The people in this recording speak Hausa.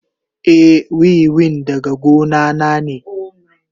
Eh, wiwin daga gona na ne.